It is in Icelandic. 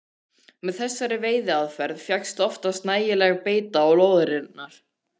Með þessari veiðiaðferð fékkst oftast nægileg beita á lóðirnar.